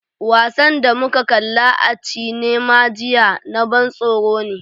Wasan da muka kalla a cinema jiya na ban tsoro ne.